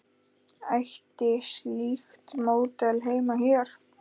Ætti slíkt módel heima hér?